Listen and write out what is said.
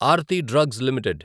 Aarti drugs limited